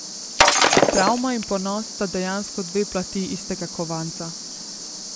Travma in ponos sta dejansko dve plati istega kovanca.